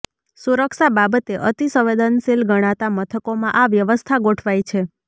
સુરક્ષા બાબતે અતી સંવેદનશીલ ગણાતા મથકોમા આ વ્યવસ્થા ગોઠવાઈ છે